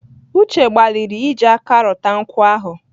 Uche gbalịrị iji aka rute nkwụ ahụ